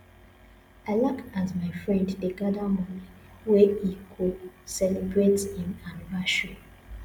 i like as my friend dey gather money wey he go celebrate him anniversary